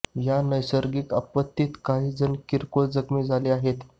या नैसर्गिक आपत्तीत काही जण किरकोळ जखमी झाले आहेत